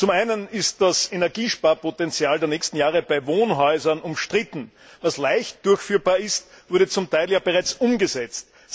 Zum einen ist das Energiesparpotenzial der nächsten Jahre bei Wohnhäusern umstritten. Was leicht durchführbar ist, wurde zum Teil ja bereits umgesetzt.